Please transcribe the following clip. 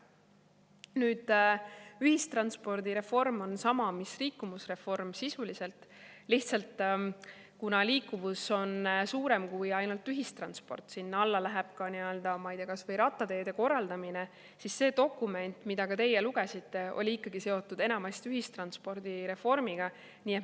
Nüüd, ühistranspordireform on sisuliselt sama mis liikuvusreform, lihtsalt kuna liikuvus on kui ainult ühistransport, sinna alla läheb ka, ma ei tea, kas või rattateede korraldamine, siis see dokument, mida ka teie lugesite, oli ikkagi enamasti seotud ühistranspordireformiga.